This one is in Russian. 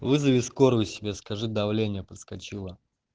вызови скорую себя скажи давление подскочило